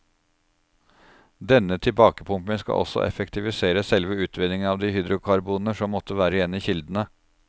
Denne tilbakepumping skal også kunne effektivisere selve utvinningen av de hydrokarboner som måtte være igjen i kildene.